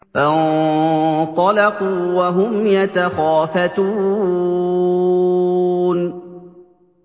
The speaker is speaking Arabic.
فَانطَلَقُوا وَهُمْ يَتَخَافَتُونَ